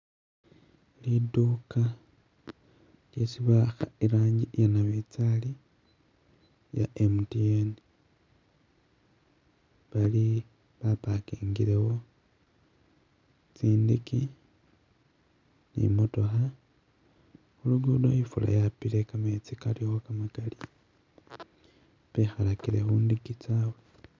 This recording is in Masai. Lidduka lyesi ba'akha iranji iya nabinzali iya MTN bali ba parkingilewo tsindeke ni motookha, khu lugudo ifuula yapile kametsi kalikho kamakali, bekhalakile khundeke tsyabwe